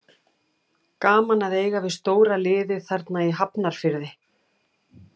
Gaman að eiga við stóra liðið þarna í Hafnarfirði.